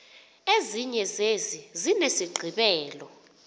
ezinye zezi zinesigqibelo